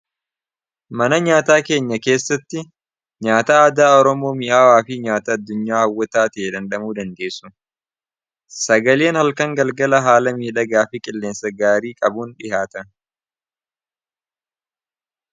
mana nyaataa keenya keessatti nyaataa aadaa oroomoo mi'aawaa fii nyaataa addunyaa hawwataatihee dandamuu dandeessu sagaleen halkan galgala haala miidhagaa fiqilleensa gaarii qabuun dhihaata